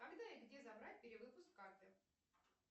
когда и где забрать перевыпуск карты